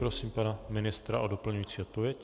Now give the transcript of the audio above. Prosím pana ministra o doplňující odpověď.